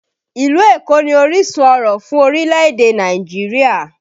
Ìlú Èkó ni orísun ọ̀rọ̀ fún orílẹ̀ èdè Nàìjíríà